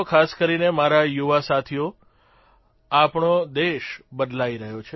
ખાસ કરીને મારા યુવા સાથીઓ આપણો દેશ બદલાઇ રહ્યો છે